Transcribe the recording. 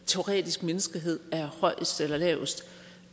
teoretisk menneskehed er højest eller lavest